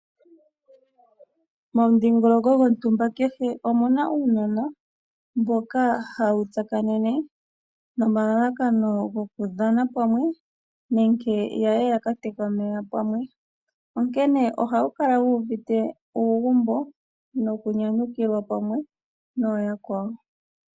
Momudhingoloko gwontumba kehe omuna uunona mboka hawu tsakanene nomalalakano gokudhana pamwe nenke yaye yakateke omeya pamwe. Onkene ohawu kala wu uvite uugumbo noku nyanyukilwa pamwe nooyakwawo.